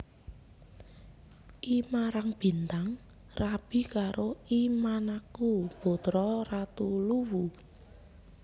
I Marabintang rabi karo I Mannakku putra ratu Luwu